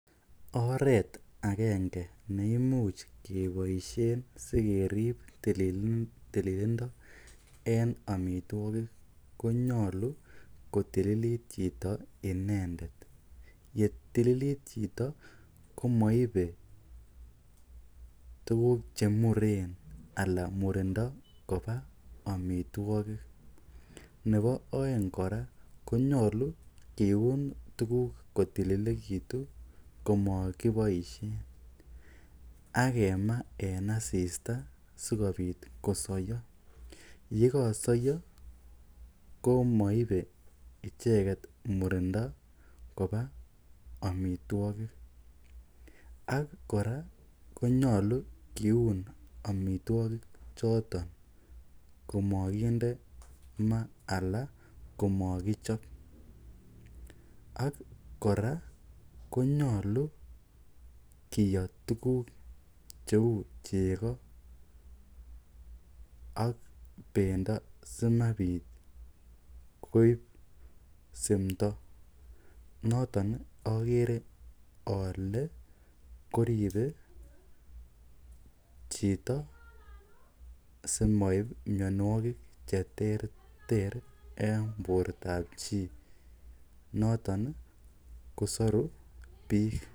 Oreet akenge neimuch keboishen sikerib tililindo en omitwokik konyolu kotililit chito inendet, yetililit chito komoibe tukuk chemuren alaa murindo kobaa amitwokik, nebo oeng kora konyolu kiun tukuk kotililekitu komokiboishen ak kemaa en asista sikobit kosoyo, yekosoyo komoibe icheket murindo koba amitwokik ak kora konyolu kiun amitwokik choton komokinde maa alaa komokichob ak kora konyolu kiyoo tukuk cheuu cheko ak bendo simabit koib simndo noton okere olee koribe chito simoib mionwokik cheterter en bortab chii, noton kosoru biik.